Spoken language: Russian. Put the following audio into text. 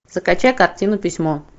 закачай картину письмо